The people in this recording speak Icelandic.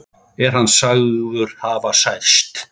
Er hann sagður hafa særst.